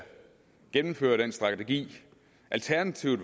gennemføre den strategi alternativet